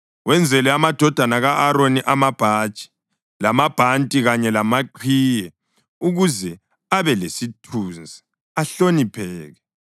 Wenzele amadodana ka-Aroni amabhatshi, lamabhanti kanye lamaqhiye ukuze abe lesithunzi, ahlonipheke.